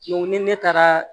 ni ne taara